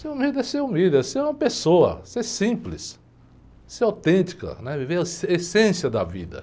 Ser humilde é ser humilde, é ser uma pessoa, ser simples, ser autêntica, né? Viver a a, essência da vida.